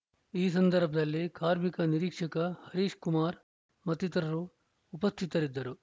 ಈ ಸಂದರ್ಭದಲ್ಲಿ ಕಾರ್ಮಿಕ ನಿರೀಕ್ಷಕ ಹರೀಶ್‌ ಕುಮಾರ್‌ ಮತ್ತಿತರರು ಉಪಸ್ಥಿತರಿದ್ದರು